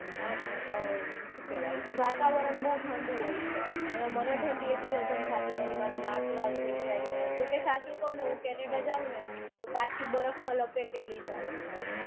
અમ સુ કેવાય વાતાવરણ બઉ ઠંડુ હોય છે. અને મને ઠંડી એટલી હજમ થાતી નથી મારુ નાક લાલ થઇ જાય ને જોકે હું સાચું કૌ ન હું canada માં જાઉંને તો પછી બરફમાં લપેટેલી જ આવીશ હાવ